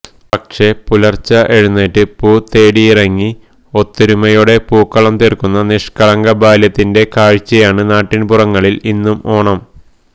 പക്ഷേ പുലര്ച്ചെ എഴുന്നേറ്റ് പൂ തേടിയിറങ്ങി ഒത്തൊരുമയോടെ പൂക്കളം തീര്ക്കുന്ന നിഷ്കളങ്ക ബാല്യത്തിന്റെ കാഴ്ചയാണ് നാട്ടിന്പുറങ്ങളില് ഇന്നും ഓണം